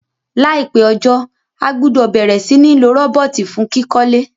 Láìpé ojó, a gbúdò bẹ̀rẹ̀ si ni lo robot fun kíkólé